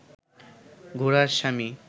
ঘোড়ার স্বামী